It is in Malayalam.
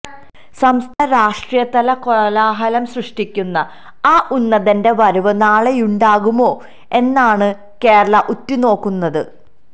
സംസ്ഥാന രാഷ്ട്രീയത്തില് കോലാഹലം സൃഷ്ടിക്കുന്ന ആ ഉന്നതന്റെ വരവ് നാളെയുണ്ടാകുമോ എന്നാണ് കേരളം ഉറ്റുനോക്കുന്നത്